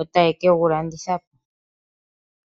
otaya vulu okugu landithapo.